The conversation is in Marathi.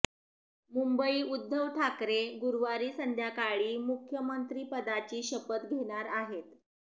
मुंबईः उद्धव ठाकरे गुरुवारी संध्याकाळी मुख्यमंत्रीपदाची शपथ घेणार आहेत